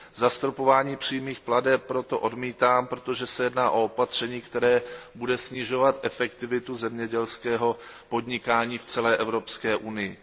Zastropování přímých plateb proto odmítám, protože se jedná o opatření, které bude snižovat efektivitu zemědělského podnikání v celé Evropské unii.